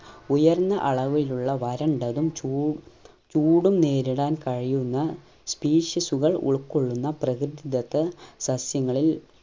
ഉയർന്ന അളവിലുള്ള വരണ്ടതും ച്ചുടു ചൂടും നേരിടാൻ കഴിയുന്ന species ഉകൾ ഉൾകൊള്ളുന്ന പ്രകൃതിത്വത്ത സസ്യങ്ങളിൽ